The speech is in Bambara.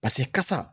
Paseke kasa